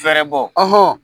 Fɛrɛbɔ